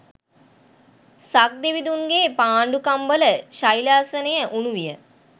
සක් දෙවිඳුන්ගේ පාණ්ඩුකම්බල ශෛලාසනය උණු විය.